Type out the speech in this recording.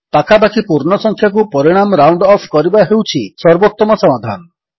ପାଖାପାଖି ପୂର୍ଣ୍ଣ ସଂଖ୍ୟାକୁ ପରିଣାମ ରାଉଣ୍ଡ ଅଫ୍ କରିବା ହେଉଛି ସର୍ବୋତ୍ତମ ସମାଧାନ